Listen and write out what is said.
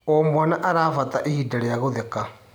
O mwana arabata ihinda rĩa gũtheka.